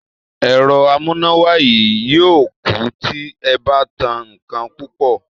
È̩ro̩ amúnáwá yìí yóò kú tí e̩ bá tan nǹkan púpò̩